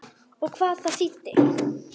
Og hvað það þýddi.